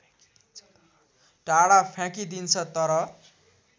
टाढा फ्याँकिदिन्छ तर